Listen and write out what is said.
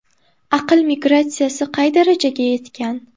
Aql migratsiyasi qay darajaga yetgan?